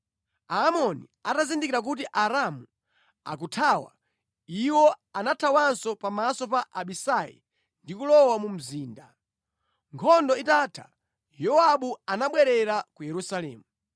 Aamoni atazindikira kuti Aaramu akuthawa, iwo anathawanso pamaso pa Abisai ndi kulowa mu mzinda. Nkhondo itatha, Yowabu anabwerera ku Yerusalemu.